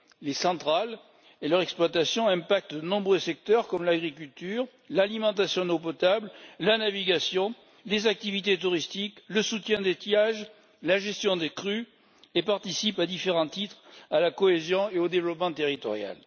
Les centrales et leur exploitation ont un impact sur de nombreux secteurs comme l'agriculture, l'alimentation en eau potable, la navigation, les activités touristiques, le soutien d'étiage, la gestion des crues et participent à différents titres à la cohésion et au développement territorials.